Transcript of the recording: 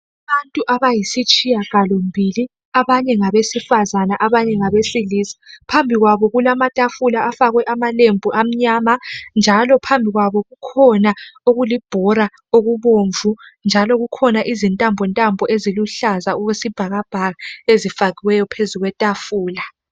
Abantu abayisitshiyagalombili abanye ngabesifazana abanye ngabesilisa. Phambi kwabo kulamatafula afakwe amalembu amnyama njalo phambi kwabo kukhona okulibhola okubomvu lezintambontambi eziluhlaza okwesibhakabhaka ezifakiweyo phezu kwetafula